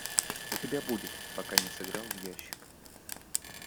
у тебя будет пока не сыграл в ящик